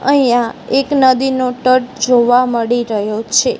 અહિયા એક નદીનો તટ જોવા મળી રહ્યો છે.